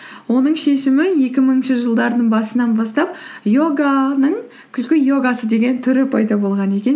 оның шешімі екі мыңыншы жылдардың басынан бастап йоганың күлкі йогасы деген түрі пайда болған екен